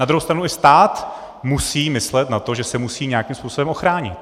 Na druhou stranu, i stát musí myslet na to, že se musí nějakým způsobem ochránit.